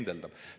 Ta pendeldab.